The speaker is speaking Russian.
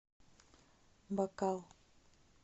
бакал